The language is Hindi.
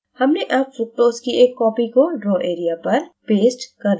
हमने अब fructose की एक copy को draw area पर पेस्ट कर लिया है